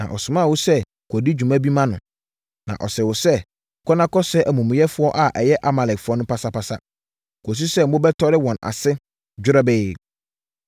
Na ɔsomaa wo sɛ kɔdi dwuma bi ma no, na ɔsee wo sɛ, ‘Kɔ na kɔsɛe amumuyɛfoɔ a ɛyɛ Amalekfoɔ no pasapasa, kɔsi sɛ mobɛtɔre wɔn ase dworobɛɛ.’